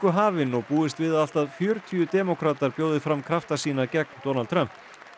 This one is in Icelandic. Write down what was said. hafin og búist við að allt að fjörutíu demókratar bjóði fram krafta sína gegn Donald Trump